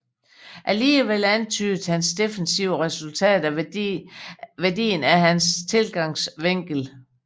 Alligevel antydede hans defensive resultater værdien af hans tilgangsvinkel